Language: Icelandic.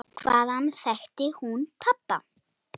Hvaðan þekkti hún pabba?